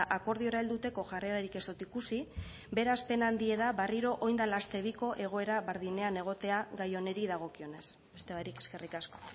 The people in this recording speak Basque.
akordiora helduteko jarrerarik ez dot ikusi beraz pena handie da barriro orain dela aste biko egoera berdinean egotea gai honeri dagokionez beste barik eskerrik asko